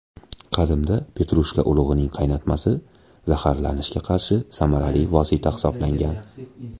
Qadimda petrushka urug‘ining qaynatmasi zaharlanishga qarshi samarali vosita hisoblangan.